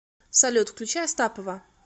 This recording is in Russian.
салют включи астапова